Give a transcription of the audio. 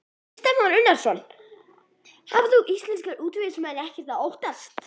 Kristján Már Unnarsson: Hafa þá íslenskir útvegsmenn ekkert að óttast?